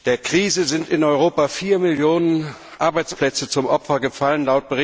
Der Krise sind in Europa vier Millionen Arbeitsplätze zum Opfer gefallen.